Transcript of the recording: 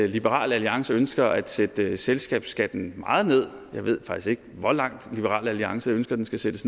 liberal alliance ønsker at sætte selskabsskatten meget ned jeg ved faktisk ikke hvor langt liberal alliance ønsker den skal sættes